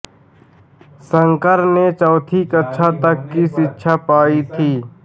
शंकर ने चौथी कक्षा तक की शिक्षा पायी थी